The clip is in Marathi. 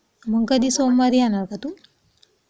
मग कधी सोमवारी येणार का तू?